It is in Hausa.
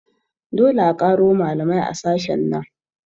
Dole a ƙaro malamai a sashen nan